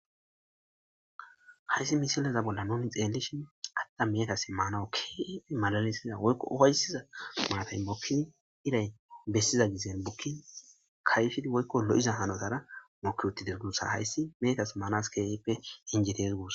hayssi misileza bolla noomi xeellishi atta meetas maanaukki malalesiza woykko ofayssiza maatayn bokkin iray bessiza gisen bukkin kayfhid woykko lo7iza hanotara moki utti derdunsa hayssi meetas maanas keefippe injiries guos